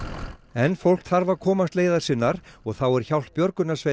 en fólk þarf að komast leiðar sinnar og þá er hjálp björgunarsveitar